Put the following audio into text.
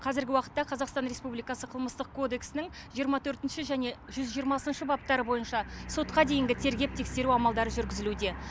қазіргі уақытта қазақстан республикасы қылмыстық кодексінің жиырма төртінші және жүз жиырмасыншы баптары бойынша сотқа дейінгі тергеп тексеру амалдары жүргізілуде